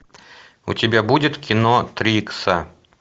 у тебя будет кино три икса